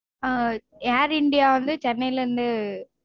ஆஹ் air india வந்து சென்னையிலிருந்து